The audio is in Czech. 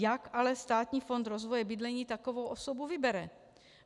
Jak ale Státní fond rozvoje bydlení takovou osobu vybere?